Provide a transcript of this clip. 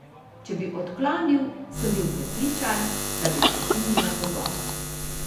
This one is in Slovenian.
Če bi odklonil, sem bil prepričan, da bi prekinila pogovor.